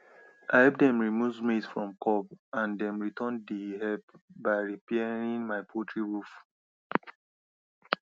i help dem remove maize from cob and dem return the help by repairing my poultry roof